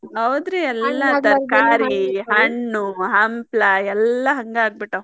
ಹೌದ್ರಿ ಹಣ್ಣು ಹಂಪ್ಲ ಎಲ್ಲಾ ಹಂಗ ಆಗಿಬಿಟ್ಟಾವ.